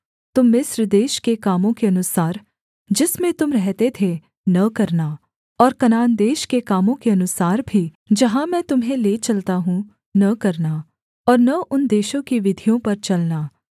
तुम मिस्र देश के कामों के अनुसार जिसमें तुम रहते थे न करना और कनान देश के कामों के अनुसार भी जहाँ मैं तुम्हें ले चलता हूँ न करना और न उन देशों की विधियों पर चलना